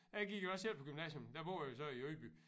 Jeg gik også selv på gymnasium der boede jeg så i Ydby